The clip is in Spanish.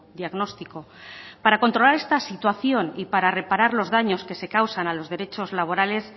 diagnóstico para controlar esta situación y para reparar los daños que se causan a los derechos laborales